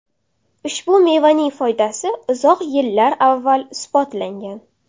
Ushbu mevaning foydasi uzoq yillar avval isbotlangan.